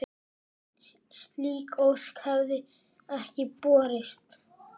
Slík ósk hefði ekki borist.